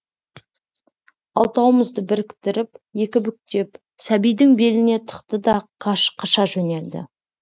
алтауымызды біріктіріп екі бүктеп сәбидің беліне тықты да қаша жөнелді